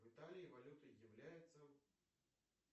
в италии валютой является